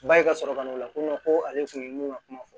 Ba e ka sɔrɔ ka na o la ko ko ale tun ye mun ka kuma fɔ